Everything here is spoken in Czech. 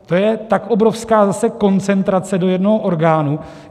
To je tak obrovská zase koncentrace do jednoho orgánu.